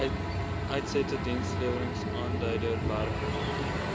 uitsette diensleweringaanduider werklike